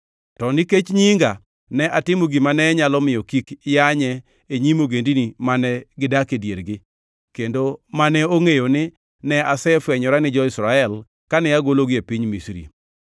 To nikech nyinga, ne atimo gima ne nyalo miyo kik yanye e nyim ogendini mane gidak e diergi, kendo mane ongʼeyo ni ne asefwenyora ni jo-Israel kane agologi e piny Misri.